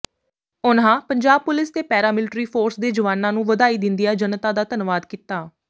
ਉਨ੍ਹਾਂ ਪੰਜਾਬ ਪੁਲਿਸ ਤੇ paramilitary force ਦੇ ਜਵਾਨਾਂ ਨੂੰ ਵਧਾਈ ਦਿੰਦਿਆਂ ਜਨਤਾ ਦਾ ਧੰਨਵਾਦ ਕੀਤਾ